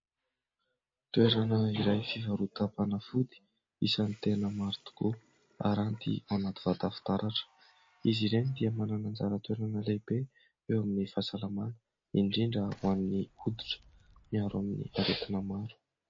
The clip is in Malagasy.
Toerana iray fivarotam-panafody isan'ny tena maro tokoa, aranty anaty vata fitaratra izy ireny dia manana anjara-toerana lehibe eo amin'ny fahasalamana, indrindra ho an'ny oditra miaro amin'ny aretina maro.